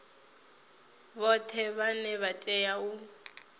vhoṱhe vhane vha tea u